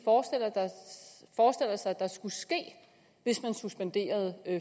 der skulle ske hvis man suspenderede